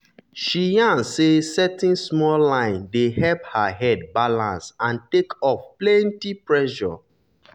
she yarn say setting small line dey help her head balance and take off plenty pressure.